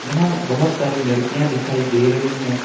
यहां बहुत सारी लड़कियां दिखाई दे रही हैं।